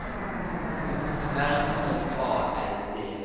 R O A L D